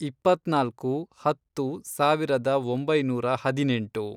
ಇಪ್ಪತ್ನಾಲ್ಕು, ಹತ್ತು, ಸಾವಿರದ ಒಂಬೈನೂರ ಹದಿನೆಂಟು